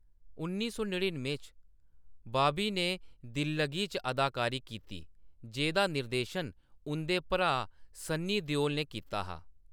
उन्नी सौ नडिनुएं च, बाबी ने दिल्लगी च अदाकारी कीती, जेह्‌दा निर्देशन उंʼदे भ्राऽ सनी देओल ने कीता हा।